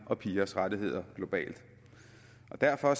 og pigers rettigheder globalt derfor er